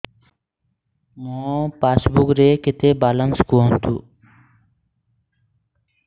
ମୋ ପାସବୁକ୍ ରେ କେତେ ବାଲାନ୍ସ କୁହନ୍ତୁ